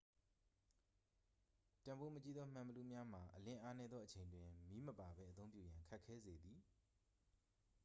တန်ဖိုးမကြီးသော မှန်ဘီလူးများမှာ အလင်းအားနည်းသော အချိန်တွင် မီးမပါပဲ အသုံးပြုရန် ခက်ခဲစေသည်